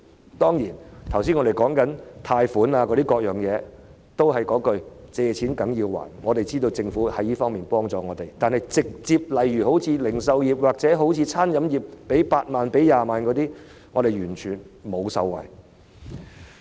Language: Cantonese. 我剛才提及的貸款等各項措施，也是"借錢梗要還"，我們知道政府已在這方面幫助我們，但直接向零售業或餐飲業提供8萬元、20萬元資助等措施，製造業卻完全無法受惠。